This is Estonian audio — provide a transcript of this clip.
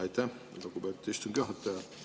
Aitäh, lugupeetud istungi juhataja!